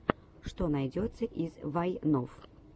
что найдется из вайнов